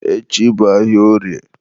echi bụ ahịa orie.